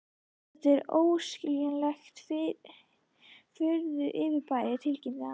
Þetta er óskiljanlegt furðufyrirbæri tilkynnti hann.